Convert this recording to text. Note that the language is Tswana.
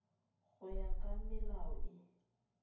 go ya ka melao e